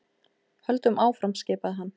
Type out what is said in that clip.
Höldum áfram skipaði hann.